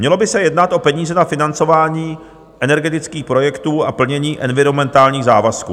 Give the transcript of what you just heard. Mělo by se jednat o peníze na financování energetických projektů a plnění environmentálních závazků.